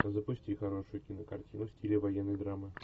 запусти хорошую кинокартину в стиле военной драмы